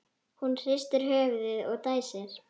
Hún hristir höfuðið og dæsir.